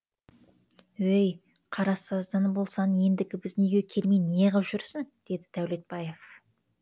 өй қарасаздан болсаң ендігі біздің үйге келмей неғып жүрсің деді дәулетбаев